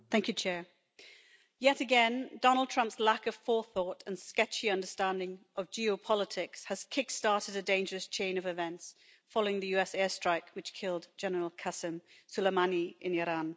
Madam President, yet again, Donald Trump's lack of forethought and sketchy understanding of geopolitics has kick-started a dangerous chain of events, following the US air strike which killed General Qasem Soleimani in Iran.